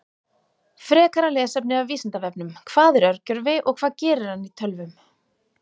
Frekara lesefni af Vísindavefnum: Hvað er örgjörvi og hvað gerir hann í tölvum?